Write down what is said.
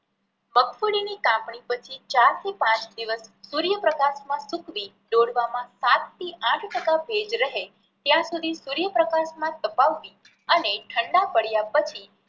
મગફળી ની કાપણી પછી ચાર થી પાંચ દિવસ સુર્ય પ્રકાશ માં સૂકવી ડોડવામાં સાત થી આઠ ટકા ભેજ રહે ત્યાં સુધી સુર્ય પ્રકાશ માં તપવવી અને ઠંડા પડ્યા પછી